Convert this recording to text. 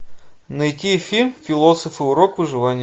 найти фильм философы урок выживания